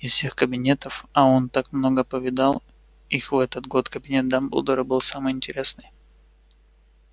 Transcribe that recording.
из всех кабинетов а он так много повидал их в этот год кабинет дамблдора был самый интересный